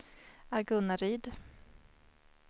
Agunnaryd